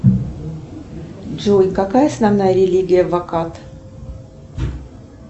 джой какая основная религия в акат